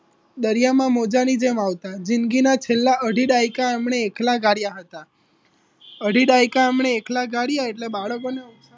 દરિયામાં મોજાની જેમ આવતા જિંદગીના છેલ્લા અઢી દાયકા આપણે એકલા કાઢ્યા હતા અઢી દાયકા એમણે એકલા કાઢ્યા એટલે બાળકોના